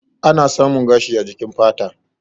Ana Samun gashi a jikin fata.